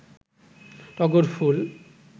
টগর ফুল